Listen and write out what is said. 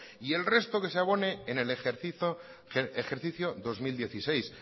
y el resto que se abone en el ejercicio dos mil dieciséis